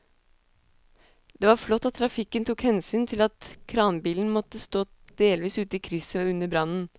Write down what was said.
Det var flott at trafikken tok hensyn til at kranbilen måtte stå delvis ute i krysset under brannen.